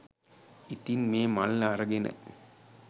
ඉතින් මේ මල්ල අරගෙන